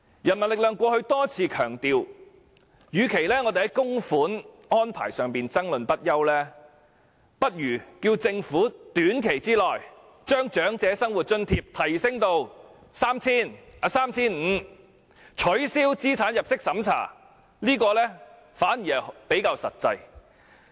人民力量過去多次強調，與其就供款安排爭論不休，不如要求政府在短期內把長者生活津貼的金額提升至 3,500 元，並取消資產入息審查，這樣做反而比較實際。